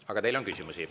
Aga teile on küsimusi.